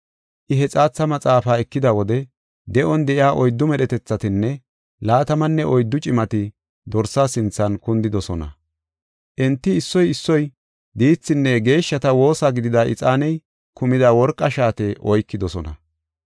I he xaatha maxaafaa ekida wode, de7on de7iya oyddu medhetethatinne laatamanne oyddu cimati Dorsa sinthan kundidosona. Enti issoy issoy diithinne geeshshata woosa gidida ixaaney kumida worqa shaate oykidosona.